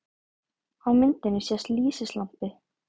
Á myndinni sést lýsislampi.